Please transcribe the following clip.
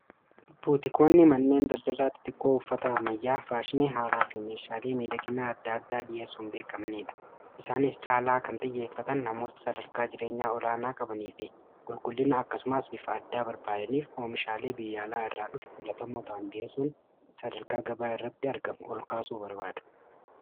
Buutikoonni manneen daldalaatti tokkoo uffataa ammayyaa faashinii haaraa fi meeshaalee miidhaginaa adda addaa dhiyeessuuin beekamniidha. isaanis caalaa kan xiyyeeffatan namoota sadarkaa jireenyaa olaanaa qabanii fi qulqullinna akkasumaas bifa addaa barbaadaniif oomishaalee biyya alaa irraa dhufe filatamoota dhi'eessuun sadarkaa gabaa irratti argamu ol kaasuu barbaadu.